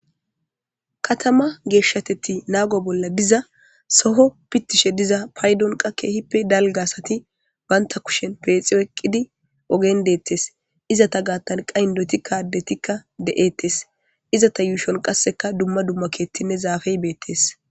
Katama geeshshateti naago bolla giza soho pittishe diza paydonqa keehippe dalgasati banta kushen peexiyo eqqidi ogen deettes izata gaatanqa indoti kadetikka de'ettes izata yuushon qasseka dumma dumma keettinne zaafey beettes.